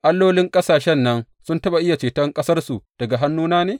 Allolin ƙasashen nan sun taɓa iya ceton ƙasarsu daga hannuna ne?